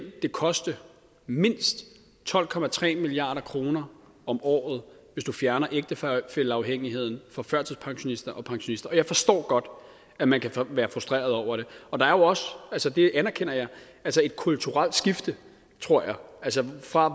det koste mindst tolv milliard kroner om året hvis vi fjerner ægtefælleafhængigheden for førtidspensionister og pensionister og jeg forstår godt at man kan være frustreret over det og der er jo også altså det anerkender jeg et kulturelt skifte tror jeg altså fra